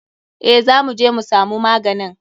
Eh za muje mu samu maganin.